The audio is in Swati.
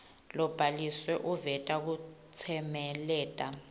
lobhaliwe uveta kutsemeleta